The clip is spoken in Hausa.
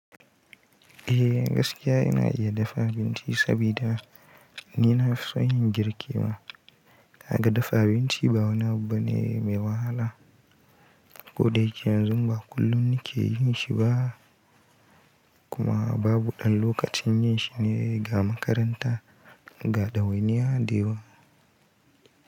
Eh gaskiya ina iya dafa abinci saboda ni na fi son yin girki ma. Kaga dafa abinci ba wani abu bane mai wahala. Ko da yake yanzu ba kullum nake yin shi ba kuma babu ɗan lokaci yin shi ne ga makaranta ga ɗawainiya da yawa.